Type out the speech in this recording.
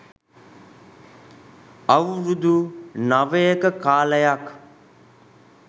අවුරුදු නවයක කාලයක්